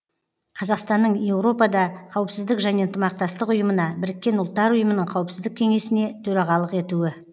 қазақстанның еуропада қауіпсіздік және ынтымақтастық ұйымына біріккен ұлттар ұйымының қауіпсіздік кеңесіне төрағалық етуі